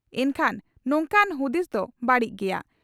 ᱤᱠᱷᱟᱹᱱ ᱱᱚᱝᱠᱟᱱ ᱦᱩᱫᱤᱥ ᱫᱚ ᱵᱟᱹᱲᱤᱡ ᱜᱮᱭᱟ ᱾